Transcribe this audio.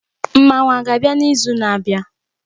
Mmanwu a ga-abịa n'izu na-abịa?